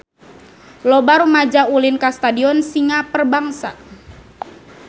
Loba rumaja ulin ka Stadion Singa Perbangsa